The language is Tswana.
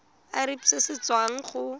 irp se se tswang go